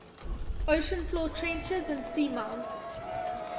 ocean floor trenches and seamounts